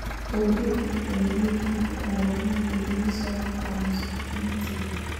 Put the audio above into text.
Tũngĩka atĩa nĩguo tũhote kũhonia mũrimũ ũcio wa chromosome 20?